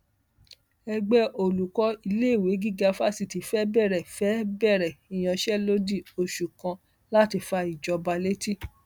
ẹgbẹ olùkọ iléèwé gíga fásitì fẹẹ bẹrẹ fẹẹ bẹrẹ ìyanṣẹlódì oṣù kan láti fa ìjọba létí